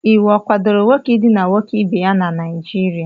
Iwu ọ kwadoro nwoke idina nwoke ibe ya na Naịjirịa?